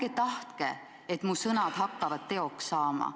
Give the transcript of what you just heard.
Ärge tahtke, et mu sõnad hakkavad teoks saama.